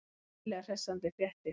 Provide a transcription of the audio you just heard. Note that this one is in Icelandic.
Virkilega hressandi fréttir.